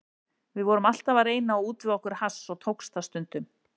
Við vorum alltaf að reyna að útvega okkur hass og tókst það stundum.